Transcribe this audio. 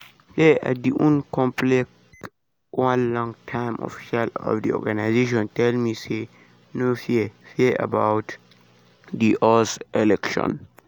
here at di un complex one longtime official of di organisation tell me say no fear fear about di us election.